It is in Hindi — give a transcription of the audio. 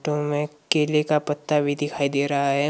में केले का पत्ता भी दिखाई दे रहा है।